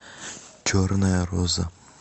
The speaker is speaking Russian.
черная роза